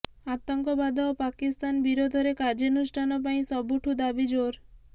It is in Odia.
ଆତଙ୍କବାଦ ଓ ପାକିସ୍ତାନ ବିରୋଧରେ କାର୍ୟ୍ୟାନୁଷ୍ଠାନ ପାଇଁ ସବୁଠୁ ଦାବି ଜୋର